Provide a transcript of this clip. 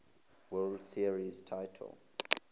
world series titles